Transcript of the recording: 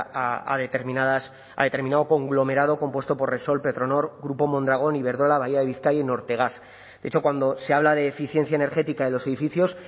a determinadas a determinado conglomerado compuesto por repsol petronor grupo mondragon iberdrola bahía de bizkaia y nortegas de hecho cuando se habla de eficiencia energética de los edificios